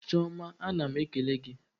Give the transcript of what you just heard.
Chiọma ana m ekele gị.